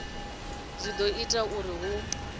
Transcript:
dzi do ita uri hu